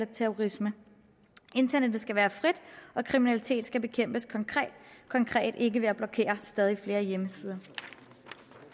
terrorisme internettet skal være frit og kriminalitet skal bekæmpes konkret ikke ved at blokere stadig flere hjemmesider